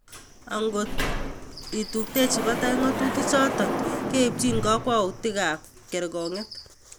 Angot ko tuptochi batai ng'atutichotok keipchi kokwoutiikab kerkong'.